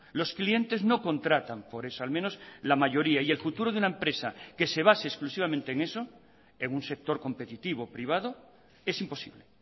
los clientes no contratan por eso al menos la mayoría y el futuro de una empresa que se base exclusivamente en eso en un sector competitivo privado es imposible